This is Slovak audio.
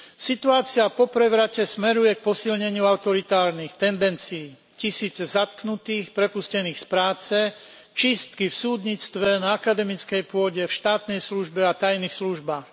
Situácia po prevrate smeruje k posilneniu autoritárnych tendencií tisíce zatknutých, prepustených z práce, čistky v súdnictve, na akademickej pôde, v štátnej službe a tajných službách.